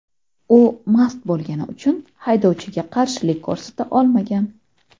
U mast bo‘lgani uchun haydovchiga qarshilik ko‘rsata olmagan.